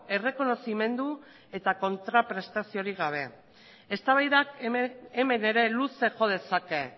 errekonozimendu eta kontraprestaziorik gabe eztabaidak hemen ere luze jo dezake